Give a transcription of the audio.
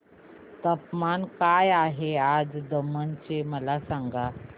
तापमान काय आहे आज दमण चे मला सांगा